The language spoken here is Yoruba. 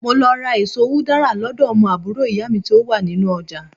mo lọ ra eso udara lodo omo àbúrò iya mi ti o wa ni inú ojà